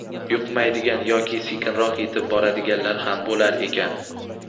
yuqmaydigan yoki sekinroq yetib boradiganlar ham bo‘lar ekan.